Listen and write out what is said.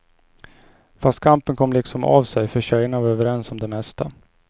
Fast kampen kom liksom av sig, för tjejerna var överens om det mesta.